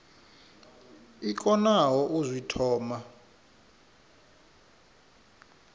i konaho u zwi thoma